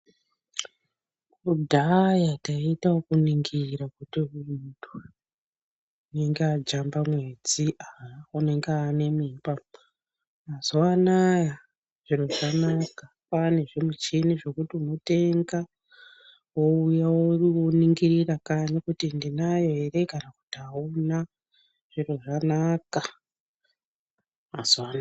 Kudhaya taiita okuningira kuti munthu unonga ajamba mwedzi, unenge aane nemimba. Mazuwa anaya zviro zvanaka kwaane zvimuchini zvekuti unotenga wouya woningirira kanyi kuti ndinayo ere kana kuti auna zviro zvanaka mazuwa anaya.